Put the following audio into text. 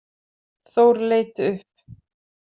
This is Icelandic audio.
Þór leit upp.